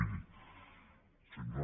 miri senyor